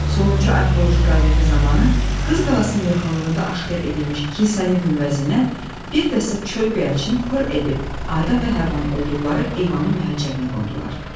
Sonuncu arxeoloji qazıntı zamanı Qız Qalasının yaxınlığında aşkar edilmiş kilsənin günbəzindən bir dəstə çöl göyərçini pır edib, Adəm və Həvvanın olduqları eyvanın məhəccərinə qondular.